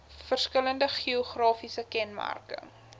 verskillende geografiese kenmerke